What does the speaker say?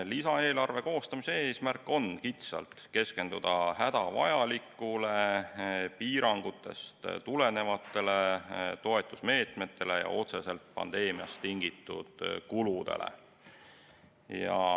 Lisaeelarve koostamise eesmärk on kitsalt keskenduda hädavajalikule, piirangutest tulenevatele toetusmeetmetele ja otseselt pandeemiast tingitud kuludele.